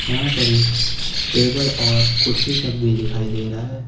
यहां पर ये टेबल और कुर्सी सब दिखाई दे रहा है।